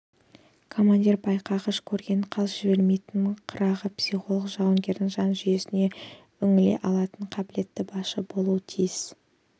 командир байқағыш көргенін қалт жібермейтін қырағы психолог жауынгердің жан жүйесіне үңіле алатын қабілетті басшы болуға тиіс